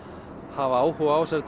hafa áhuga á þessari